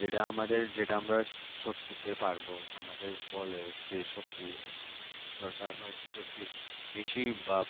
যেটা আমাদের যেটা আমরা সব দিতে পারব আমাদের বলে যে শক্তি দরকার হয় সেই শক্তি বেশিরভাগ